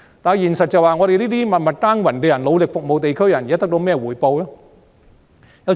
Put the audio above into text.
但現實是我們這些默默耕耘和努力服務地區的人得到甚麼回報呢？